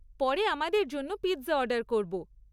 পরে আমাদের জন্য পিৎজা অর্ডার করব।